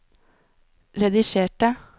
redigerte